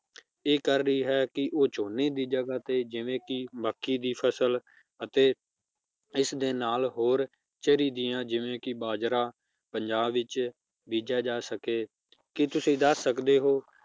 ਇਹ ਕਰ ਰਹੀ ਹੈ ਕਿ ਉਹ ਝੋਨੇ ਦੀ ਜਗਾਹ ਤੇ ਜਿਵੇ ਕਿ ਮੱਕੀ ਦੀ ਫਸਲ ਅਤੇ ਇਸਦੇ ਨਾਲ ਹੋਰ ਦੀਆਂ ਜਿਵੇ ਕਿ ਬਾਜਰਾ ਪੰਜਾਬ ਵਿਚ ਬੀਜਿਆ ਜਾ ਸਕੇ ਕਿ ਤੁਸੀਂ ਦੱਸ ਸਕਦੇ ਹੋ